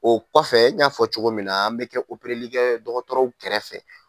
O kɔfɛ n y'a fɔ cogo min na an bɛ kɛ likɛ dɔgɔtɔrɔw kɛrɛfɛ